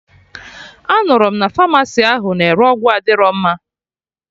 Anụrụ m na pharmacy ahụ na-ere ọgwụ adịrọ mma